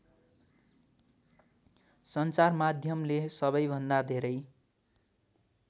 सञ्चारमाध्यमले सबैभन्दा धेरै